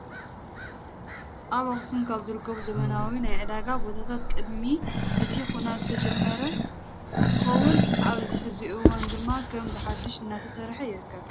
ኣብ ኣክሱም ካብ ዝርከቡ ዘበናዊ ናይ ዕዳጋ ቦታታት ቅድሚ እቲ ኩናት ዝተጀመሩ እንትኸውን ኣብዚ ሕዚ እዋን ድማ ከም ብሓዱሽ እናተሰርሐ ይርከብ።